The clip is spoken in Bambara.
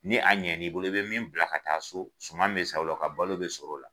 Ni a ɲɛn' i bolo i be min bila ka taa so suman bi san o la balo be sɔrɔ o la